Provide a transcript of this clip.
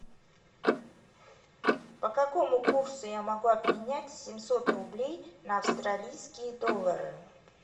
по какому курсу я могу обменять семьсот рублей на австралийские доллары